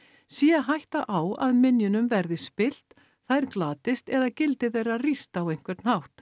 sé hætta á að minjunum verði spillt þær glatist eða gildi þeirra rýrt á einhvern hátt